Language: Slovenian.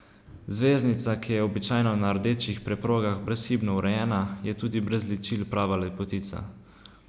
Zvezdnica, ki je običajno na rdečih preprogah brezhibno urejena, je tudi brez ličil prava lepotica.